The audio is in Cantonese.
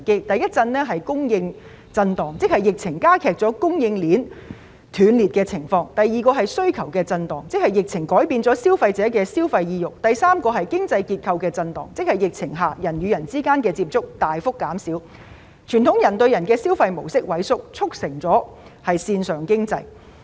第一震是供應震盪，即疫情加劇了供應鏈斷裂情況；第二震是需求震盪，即疫情改變了消費者的消費意欲；第三震是經濟結構震盪，即疫情下人與人之間的接觸大幅減少，傳統人對人的消費模式萎縮，促成了線上經濟。